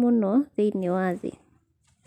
mũno thĩinĩ wa thĩ.'